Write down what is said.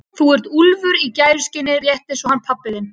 Þú ert úlfur í gæruskinni rétt eins og hann pabbi þinn.